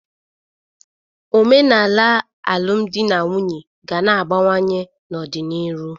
Omenanị alụm dị na'nwunye ga na-agbanwe n'ọdị n'iru.